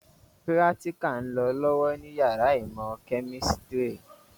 Pírátíkà ń lọ lọ́wọ́ ní yàrá ìmọ̀ kẹ̀mísírì